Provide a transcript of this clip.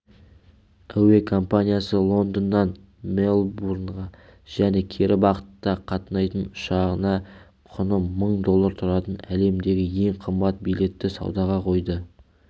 әуе компаниясы лондоннан мельбурнға және кері бағытта қатынайтын ұшағына құны мың доллар тұратын әлемдегі ең қымбат билетті саудаға қойды